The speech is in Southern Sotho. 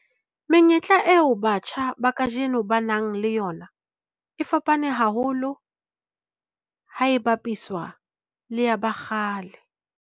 Menyetla eo batjha ba kajeno ba nang le yona e fapane haholo ha e bapiswa le ya ba kgale.